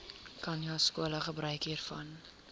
khanyaskole gebruik hiervan